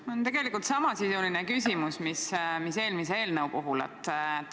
Mul on tegelikult samasisuline küsimus, mis eelmise eelnõu puhul.